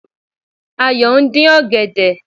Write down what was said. Ayò ndín ọ̀gẹ̀dẹ̀